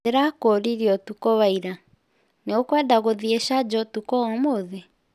Ndĩrakũũririe ũtukũ wa ira. Nĩũkwenda gũthiĩ Charger ũtukũ wa ũmũthĩ?